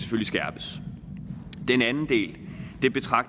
skærpes den anden del